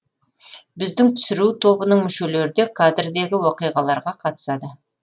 біздің түсіру тобының мүшелері де кадрдегі оқиғаларға қатысады